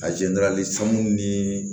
ni